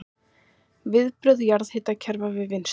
Viðbrögð jarðhitakerfa við vinnslu